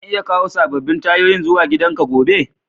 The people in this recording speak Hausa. Zan iya kawo sabobin tayoyin zuwa gidan ka gobe?